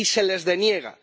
Y se les deniega.